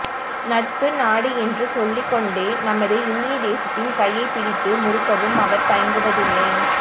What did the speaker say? நட்பு நாடு என்று சொல்லிக்கொண்டே நமது இந்திய தேசத்தின் கையைப்பிடித்து முறுக்கவும் அவா் தயங்குவதில்லை